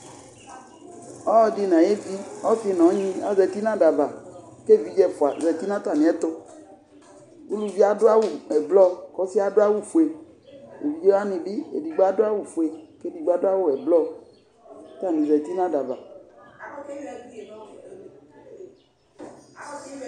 Ɔlɔdɩ nʋ ayevi, ɔsɩ nʋ ɔnyɩ azǝtɩ nʋ ada ava, kʋ evidze ɛfʋa azǝtɩ nʋ atamɩ ɛtʋ Uluvi yɛ adʋ awʋ ɛblɔ, kʋ ɔsɩ yɛ adʋ awʋfue Evidze wanɩ bɩ edigbo adʋ awʋfue kʋ edigbo adʋ awʋ ɛblɔ; kʋ atanɩ zǝtɩ nʋ ada ava